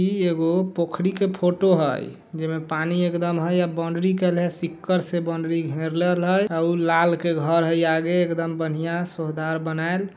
ई एगो पोखड़ी के फोटो हई जेमे पानी एकदम है एक बाउंड्री कइल हइ सिक्कड़ से बाउंड्री घेरले हइ औ लाल के घर हई आगे एकदम बढ़ियाँ सुहदार बनायल--